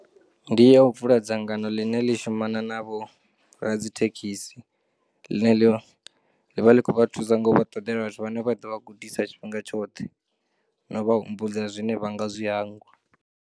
Ndiya u vula dzangano ḽine ḽi shumana na vho radzithekisi ḽine ḽo, ḽivha ḽi khou vha thusa ngo vhaṱoḓela zwine vha ḓovha gudisa tshifhinga tshoṱhe, no vha humbudza zwine vha nga zwi hangwa.